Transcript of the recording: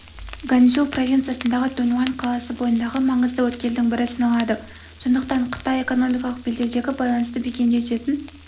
ганьсу провинциясындағы дуньіуан қаласы бойындағы маңызды өткелдің бірі саналады сондықтан қытай экономикалық белдеудегі байланысты бекемдей түсетін